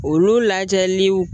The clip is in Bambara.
Olu lajɛliw